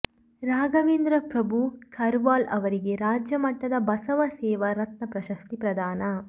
ರಾಘವೇಂದ್ರ ಪ್ರಭು ಕರ್ವಾಲು ಅವರಿಗೆ ರಾಜ್ಯಮಟ್ಟದ ಬಸವ ಸೇವಾ ರತ್ನ ಪ್ರಶಸ್ತಿ ಪ್ರಧಾನ